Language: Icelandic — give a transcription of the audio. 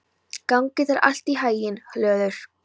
Gangi þér allt í haginn, Hlöður.